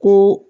Ko